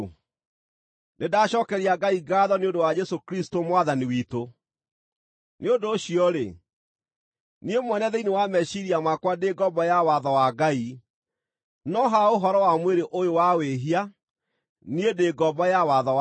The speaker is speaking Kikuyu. Nĩndacookeria Ngai ngaatho nĩ ũndũ wa Jesũ Kristũ Mwathani witũ! Nĩ ũndũ ũcio-rĩ, niĩ mwene thĩinĩ wa meciiria makwa ndĩ ngombo ya watho wa Ngai, no ha ũhoro wa mwĩrĩ ũyũ wa wĩhia, niĩ ndĩ ngombo ya watho wa wĩhia.